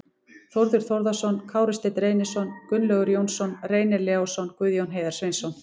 Þórður Þórðarson, Kári Steinn Reynisson, Gunnlaugur Jónsson, Reynir Leósson, Guðjón Heiðar Sveinsson